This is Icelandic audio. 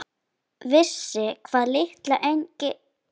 Vissi hvað, litla engi-?